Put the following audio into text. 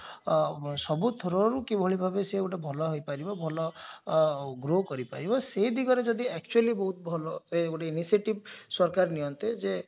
ସବୁ through ରୁ କିଭଳି ଭାବରେ ସେ ଗୋଟେ ଭଲ ହେଇପାରିବା ଭଲ grow କରିପାରିବ ସେ ଦିଗରେ ଯଦି actually ବହୁତ ଭଲ ଗୋଟେ initiative ସରକାର ନିଆନ୍ତେ ଯେ